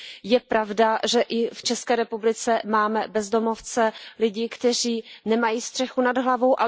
Je pravda, že i v České republice máme bezdomovce, lidi, kteří nemají střechu nad hlavou.